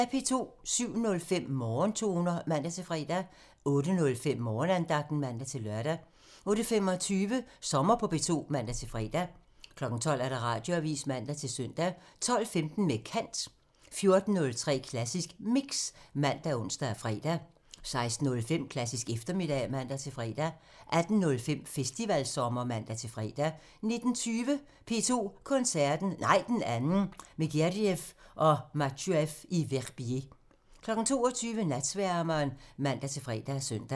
07:05: Morgentoner (man-fre) 08:05: Morgenandagten (man-lør) 08:25: Sommer på P2 (man-fre) 12:00: Radioavisen (man-søn) 12:15: Med kant (man) 14:03: Klassisk Mix ( man, ons, fre) 16:05: Klassisk eftermiddag (man-fre) 18:05: Festivalsommer (man-fre) 19:20: P2 Koncerten – Nej, den anden – med Gergiev og Matsuev i Verbier 22:00: Natsværmeren (man-fre og søn)